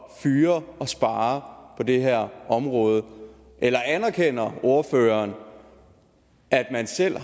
at fyre og spare på det her område eller anerkender ordføreren at man selv